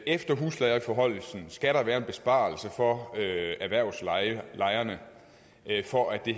efter huslejeforhøjelsen skal der være en besparelse for erhvervslejerne for at det